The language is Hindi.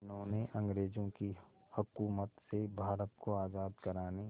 जिन्होंने अंग्रेज़ों की हुकूमत से भारत को आज़ाद कराने